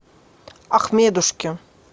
ахмедушке